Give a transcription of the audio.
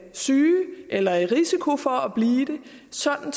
syge eller i risiko for at blive det sådan